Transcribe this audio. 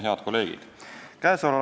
Head kolleegid!